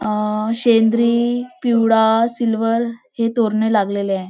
अं सेंद्रि पिवळा सिल्वर हे तोरणे लागलेले आहे.